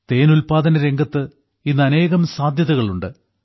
തേൻ ഉല്പാദനരംഗത്ത് ഇന്ന് അനേകം സാധ്യതകളുണ്ട്